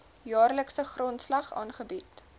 jaarlikse grondslag aangebied